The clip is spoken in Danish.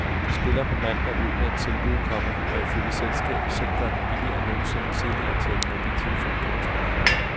De spiller på mandag ud med et tilbud, komma der ifølge selskabet selv gør det billigere end nogensinde tidligere at tale i mobiltelefon. punktum